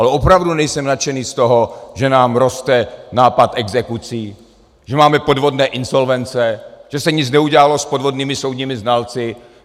Ale opravdu nejsem nadšený z toho, že nám roste nápad exekucí, že máme podvodné insolvence, že se nic neudělalo s podvodnými soudními znalci.